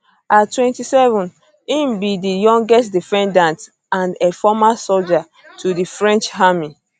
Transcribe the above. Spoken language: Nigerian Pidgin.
at 27 im be di youngest defendants and a former soldier for di french army